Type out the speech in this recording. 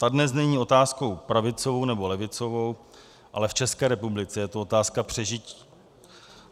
Ta dnes není otázkou pravicovou, nebo levicovou, ale v České republice je to otázka přežití.